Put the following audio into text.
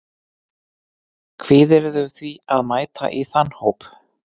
Kvíðirðu því að mæta í þann hóp?